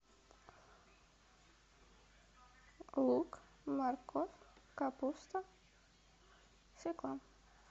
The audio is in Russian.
лук морковь капуста свекла